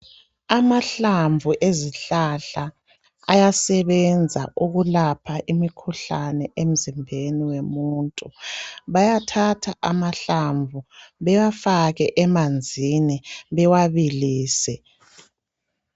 Amahlamvu ezihlahla ayasebenza ukulapha imikhuhlane emzimbeni womuntu. Bayathatha amahlamvu bewafake emanzini bewabilise.